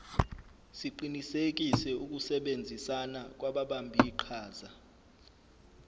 siqinisekise ukusebenzisana kwababambiqhaza